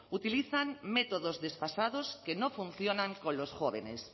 utilizan métodos desfasados que no funcionan con los jóvenes